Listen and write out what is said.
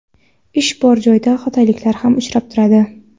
ish bor joyda xatoliklar ham uchrab turadi.